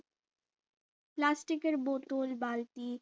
plastic এর bottle বালতি